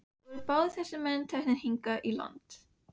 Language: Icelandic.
Voru báðir þessir menn teknir hingað í land.